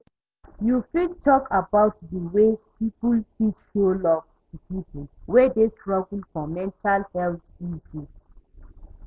you fit talk about dey ways people fit show love to people wey dey struggle for mental health issues?